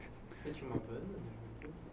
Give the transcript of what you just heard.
Você tinha uma banda?